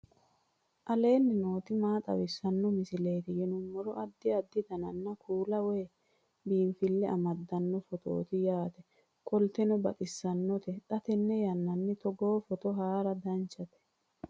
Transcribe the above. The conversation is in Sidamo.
aleenni nooti maa xawisanno misileeti yinummoro addi addi dananna kuula woy biinsille amaddino footooti yaate qoltenno baxissannote xa tenne yannanni togoo footo haara danvchate